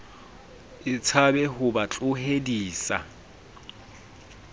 e tshabe ho ba tlohedisa